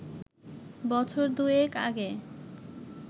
বছর দুয়েক আগে